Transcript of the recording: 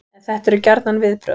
En þetta eru gjarnan viðbrögð